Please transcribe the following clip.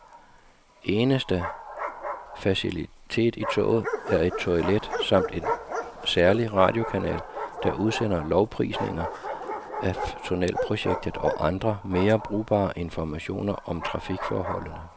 Eneste facilitet i toget er et toilet samt en særlig radiokanal, der udsender lovprisninger af tunnelprojektet og andre, mere brugbare informationer om trafikforholdene.